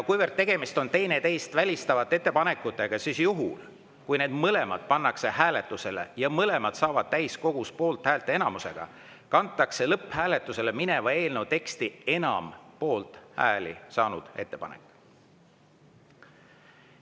Kuivõrd tegemist on teineteist välistavate ettepanekutega, siis juhul, kui need mõlemad pannakse hääletusele ja mõlemad saavad täiskogus poolthäälte enamuse, kantakse lõpphääletusele mineva eelnõu teksti enam poolthääli saanud ettepanek.